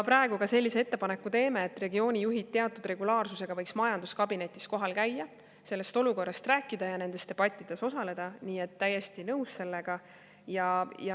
… praegu me ka sellise ettepaneku teeme, et regioonijuhid teatud regulaarsusega võiks majanduskabinetis kohal käia, sellest olukorrast rääkida ja nendes debattides osaleda, nii et täiesti nõus sellega.